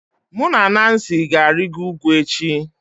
Mụ na Nancy ga-arịgo ugwu echi